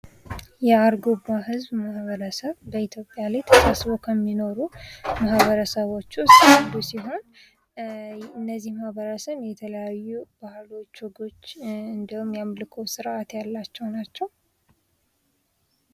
የአርጎባ ህዝብ ማህበረሰብ ተሰብስበው ከሚኖሩ ማህበረሰቦች ውስጥ አንዱ ሲሆን እነዚህ ማህበረሰቦች የተለያዩ ባህሎች፣ ወጎች እንዲሁም የአምልኮ ስርዓት ያላቸው ናቸው።